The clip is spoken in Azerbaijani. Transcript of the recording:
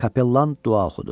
Kapellan dua oxudu.